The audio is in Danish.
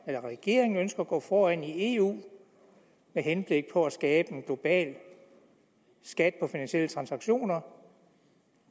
at regeringen ønsker at gå foran i eu med henblik på at skabe en global skat på finansielle transaktioner